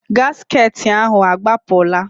Gasket ahụ agbapụla?